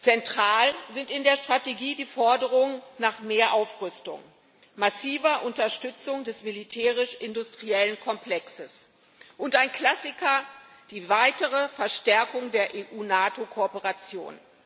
Zentral sind in der Strategie die Forderungen nach mehr Aufrüstung, massiver Unterstützung des militärisch industriellen Komplexes und ein Klassiker die weitere Verstärkung der EU NATO Kooperation.